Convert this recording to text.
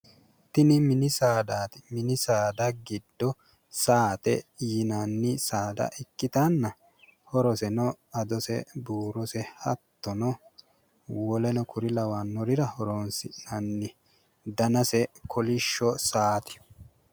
Tini mini saadaati. Mini saada giddo saate yinanni saada ikkitanna horoseno adose, buurose hattono woleno kuri lawannorira horoonsi'nanni. Danase kolishsho saati.